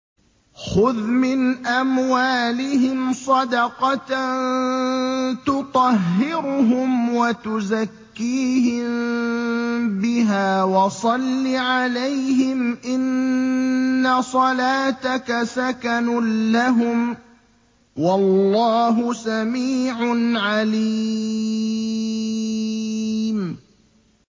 خُذْ مِنْ أَمْوَالِهِمْ صَدَقَةً تُطَهِّرُهُمْ وَتُزَكِّيهِم بِهَا وَصَلِّ عَلَيْهِمْ ۖ إِنَّ صَلَاتَكَ سَكَنٌ لَّهُمْ ۗ وَاللَّهُ سَمِيعٌ عَلِيمٌ